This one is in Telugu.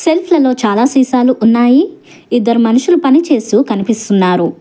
సెల్ఫ్ లలో చాలా సీసాలు ఉన్నాయి ఇద్దరు మనుషులు పని చేస్తూ కనిపిస్తున్నారు.